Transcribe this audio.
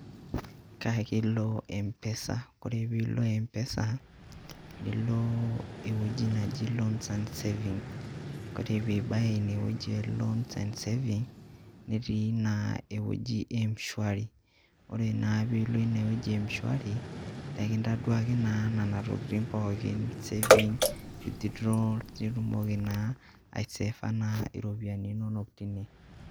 Kaake ilo mpesa kore piilo mpesa, nilo ewueji naji loans and savings kore piibaya ine wueji e loans and savings, netii naa ewueji e m-shuari, ore naa piilo ine wueji e m-shuari ninkintaduaki naa nena tokitin pookin, savings, withdrawal nitumoki naa aiseva iropiani inonok tine.